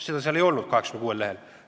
Seda seal 86 lehel ei olnud.